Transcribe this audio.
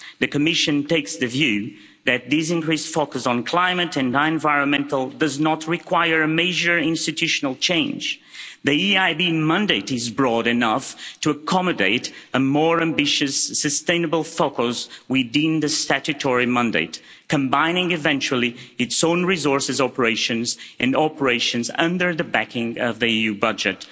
The Commission takes the view that this increased focus on the climate and environment does not require a major institutional change. The EIB mandate is broad enough to accommodate a more ambitious, sustainable focus within the statutory mandate, combining eventually its own resources operations and operations under the backing of the EU budget.